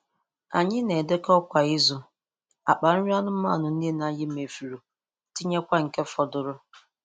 Anyị na-edekọ kwa izu, akpa nri anụmanụ niile anyị mefuru, tinyekwa nke fọdụrụ.